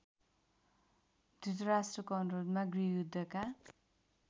धृतराष्ट्रको अनुरोधमा गृहयुद्धका